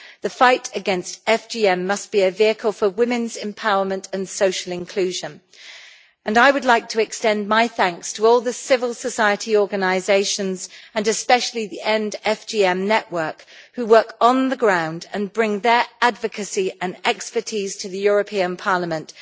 The fight against FGM must be a vehicle for women's empowerment and social inclusion, and I would like to extend my thanks to all the civil society organisations, and especially the End FGM network, who work on the ground and bring their advocacy and expertise to the European Parliament.